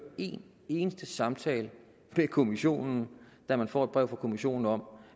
en eneste samtale med kommissionen da man får et brev fra kommissionen om